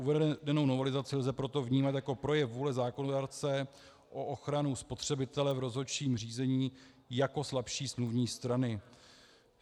Uvedenou novelizaci lze proto vnímat jako projev vůle zákonodárce o ochranu spotřebitele v rozhodčím řízení jako slabší smluvní strany.